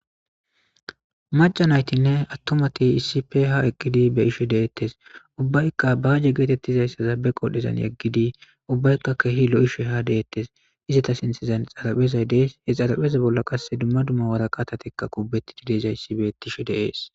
Majanaytinne attomati issife ha eqqidi be ishe deettes ubbaykka baaje geetettizayssaza be qodhezan yeggidi ubbaykka kehi lo'ishe ha deettes izata sintezan xaraphezay dees he xarapheza bolla qasse dumma dumma waraqatatekka kubbeti dideezayssi bettishe deees.